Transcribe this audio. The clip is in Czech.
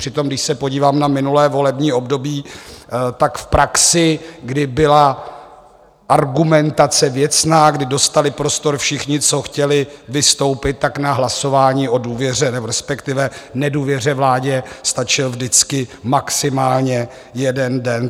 Přitom když se podívám na minulé volební období, tak v praxi, kdy byla argumentace věcná, kdy dostali prostor všichni, co chtěli vystoupit, tak na hlasování o důvěře, respektive nedůvěře vládě stačil vždycky maximálně jeden den.